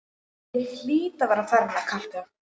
Ég hlýt að vera farin að kalka,